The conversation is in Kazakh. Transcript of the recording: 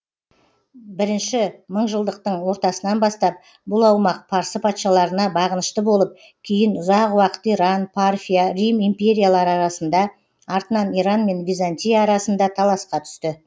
бірінші мыңжылдықтың ортасынан бастап бұл аумақ парсы патшаларына бағынышты болып кейін ұзақ уақыт иран парфия рим империялары арасында артынан иран мен византия арасында таласқа түсті